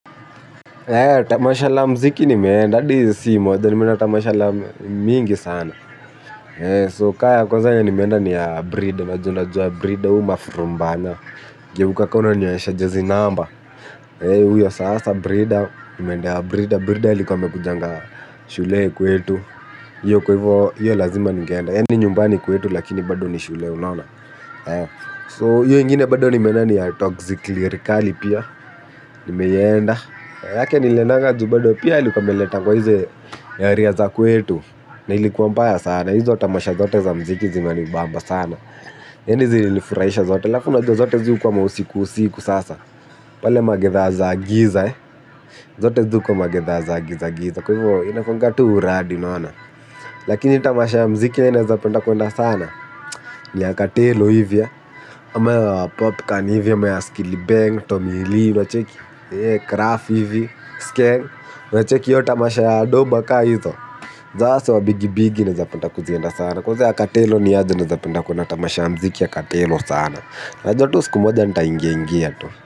Tamasha la mziki nimeenda adi si moja nimeenda tamasha la mingi sana So ka ya kwanza yenye nimeenda ni ya brida najua unajua brida uyu mafrumbanya geukq ka unanionyesha jezi namba. Uyo sasa brida nimeenda ya brida brida alikuwa amekujanga shule kuetu iyo kwa hivo iyo lazima ningeenda yani nyumbani kwetu lakini bado ni shule unaona So hiyo ingine bado nimenda ni ya toxic lyerikali pia. Nimeenda. Yake niliendanga ju bado pia ilikua ameleta kwa hizi area za kwetu na ilikuwa mbaya sana. Hizo tamasha zote za mziki zinanibamba sana. Yani zililifurahisha zote halafu unajua zote zii ukuwa mausiku usiku sasa. Pale magedha za giza. Zote zii ukuwa magedha za giza giza kwa hivo inakuanga tu uradi unaona. Lakini tamasha ya mziki yenye nezapenda kwenda sana ya katello hivi kama ya popcorn hivi, ama ya skillibeng, tomili, unacheki Kraf hivi, skeng unacheki hiyo tamasha ya doba kama hizo hasaa wa bigi bigi naezapenda kuzienda sana. Kwanza ya katelo niaje nawezapenda kuona tamasha mziki ya katelo sana. Najua tu suku moja nitaingingia tu.